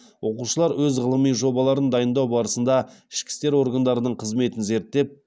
оқушылар өз ғылыми жобаларын дайындау барысында ішкі істер органдарының қызметін зерттеп